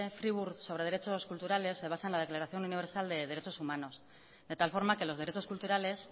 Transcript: friburgo sobre derechos culturales se basa en la declaración universal de derechos humanos de tal forma que los derechos culturales